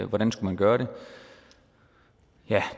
hvordan skulle man gøre det